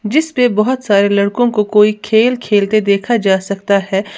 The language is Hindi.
जिसपे बहोत सारे लड़कों को कोई खेल खेलते देखा जा सकता है।